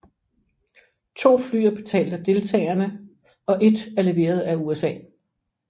To fly er betalt af deltagerne og et er leveret af USA